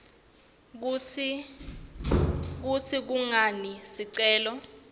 kutsi kungani sicelo